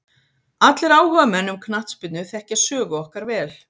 Allir áhugamenn um knattspyrnu þekkja sögu okkar vel.